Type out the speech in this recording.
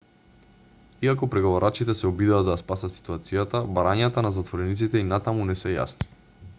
иако преговарачите се обидоа да ја спасат ситуацијата барањата на затворениците и натаму не се јасни